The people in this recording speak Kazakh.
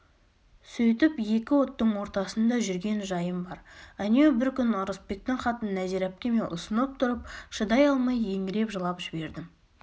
сөйтіп екі оттың ортасында жүрген жайым бар әнеу бір күні ырысбектің хатын нәзира әпкеме ұсынып тұрып шыдай алмай еңіреп жылап жібердім